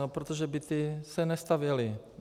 No, protože byty se nestavěly.